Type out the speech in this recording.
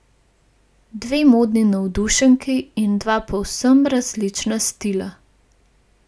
Dve modni navdušenki in dva povsem različna stila.